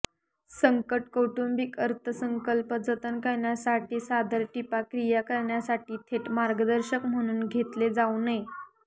संकट कौटुंबिक अर्थसंकल्प जतन करण्यासाठी सादर टिपा क्रिया करण्यासाठी थेट मार्गदर्शक म्हणून घेतले जाऊ नये